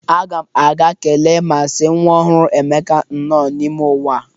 Aga m aga kelee ma sị nwa ọhụrụ Emeka nnọọ n'ime ụwa.